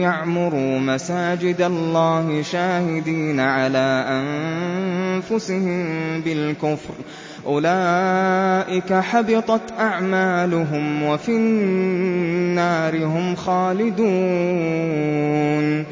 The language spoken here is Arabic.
يَعْمُرُوا مَسَاجِدَ اللَّهِ شَاهِدِينَ عَلَىٰ أَنفُسِهِم بِالْكُفْرِ ۚ أُولَٰئِكَ حَبِطَتْ أَعْمَالُهُمْ وَفِي النَّارِ هُمْ خَالِدُونَ